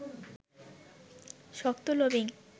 শক্ত লবিং